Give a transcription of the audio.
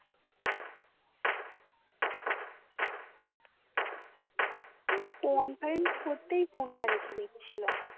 আমি conference করতাই phone টা রাখে দিছিল্ম